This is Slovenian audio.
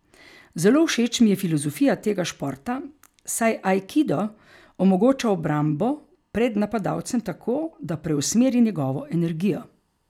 Zelo všeč mi je filozofija tega športa, saj aikido omogoča obrambo pred napadalcem tako, da preusmeri njegovo energijo.